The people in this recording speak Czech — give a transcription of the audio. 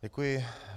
Děkuji.